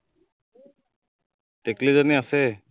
টিকলিজনী আছেই